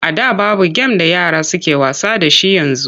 A da babu gem da yara suke wasa da shi yanzu.